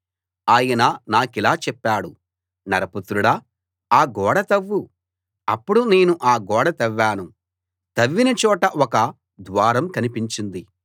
ఆయన నాకిలా చెప్పాడు నరపుత్రుడా ఆ గోడ తవ్వు అప్పుడు నేను ఆ గోడ తవ్వాను తవ్విన చోట ఒక ద్వారం కనిపించింది